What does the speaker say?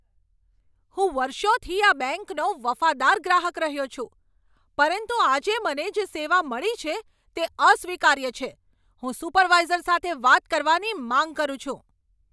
હું વર્ષોથી આ બેંકનો વફાદાર ગ્રાહક રહ્યો છું, પરંતુ આજે મને જે સેવા મળી છે તે અસ્વીકાર્ય છે. હું સુપરવાઇઝર સાથે વાત કરવાની માંગ કરું છું!